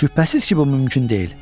Şübhəsiz ki, bu mümkün deyil.